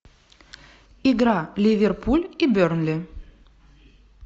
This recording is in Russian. игра ливерпуль и бернли